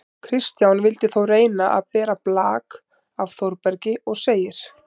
Kristján vildi þó reyna að bera blak af Þórbergi og segir: